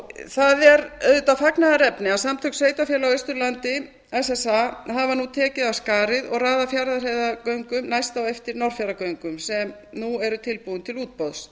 það er auðvitað fagnaðarefni að samtök sveitarfélaga á austurlandi hafa nú tekið af skarið og raðað fjarðarheiðargöngum næst á eftir norðfjarðargöngum sem nú eru tilbúin til útboðs